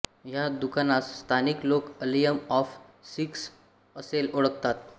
ह्या दुकानास स्थानिक लोक आलयम ऑफ सिल्क्स असेही ओळखतात